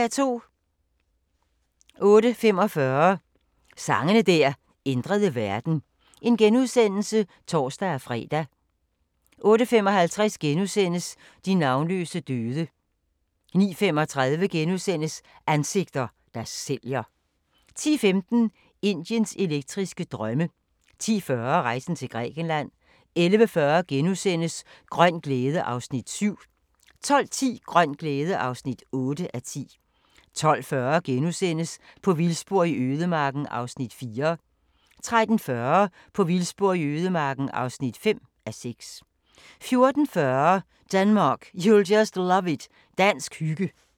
08:45: Sange der ændrede verden *(tor-fre) 08:55: De navnløse døde * 09:35: Ansigter, der sælger * 10:15: Indiens elektriske drømme 10:40: Rejsen til Grækenland 11:40: Grøn glæde (Afs. 7)* 12:10: Grøn glæde (8:10) 12:40: På vildspor i ødemarken (4:6)* 13:40: På vildspor i ødemarken (5:6) 14:40: Denmark, you'll just love it – dansk hygge